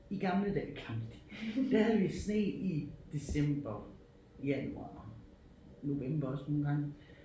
I gamle dage klamt der havde vi sne i december januar november også nogle gange